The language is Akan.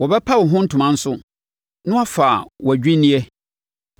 Wɔbɛpa wo ho ntoma nso na wɔafa wʼadwinneɛ.